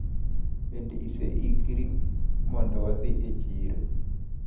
Bende iseikri mondo wadhi e chiro?